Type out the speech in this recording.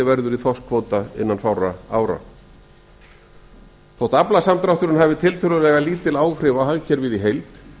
verður í þorskkvóta innan fárra ára þótt aflasamdrátturinn ahfiu tiltölulega lítil áhrif á hagkerfið í heild